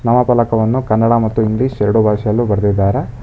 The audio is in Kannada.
ನಾಮಫಲಕವನ್ನು ಕನ್ನಡ ಮತ್ತು ಇಂಗ್ಲಿಷ್ ಎರಡು ಭಾಷೆಯಲ್ಲೂ ಬರೆದಿದ್ದಾರೆ.